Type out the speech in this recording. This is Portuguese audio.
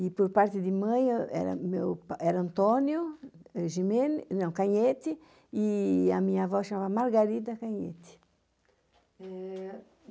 E, por parte de mãe, era meu pa, era Antônio eh Gimene, não, Canhete e a minha avó chamava-se Margarida Canhete. Eh